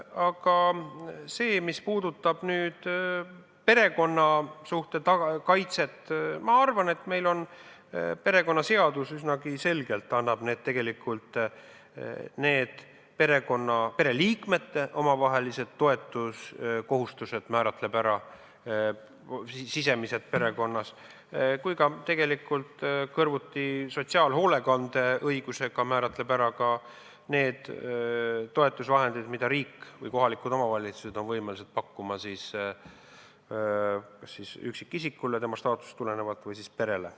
Aga mis puudutab perekonnasuhte kaitset, siis ma arvan, et perekonnaseadus üsnagi selgelt määrab kindlaks pereliikmete omavahelised toetamise kohustused perekonnas, samuti kõrvuti sotsiaalhoolekandeõigusega määrab kindlaks ka need toetusvahendid, mida riik või kohalikud omavalitsused on võimelised pakkuma kas üksikisikule tema staatusest tulenevalt või perele.